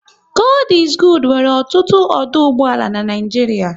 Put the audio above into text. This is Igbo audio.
God is Good nwere ọtụtụ ọdụ ụgbọala n'Naijiria